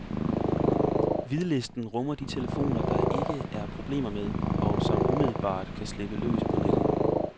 Hvidlisten rummer de telefoner, der ikke er problemer med, og som umiddelbart kan slippes løs på nettet.